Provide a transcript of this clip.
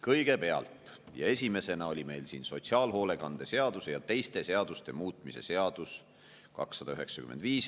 Kõigepealt, esimesena oli meil siin sotsiaalhoolekande seaduse ja teiste seaduste muutmise seaduse eelnõu 295.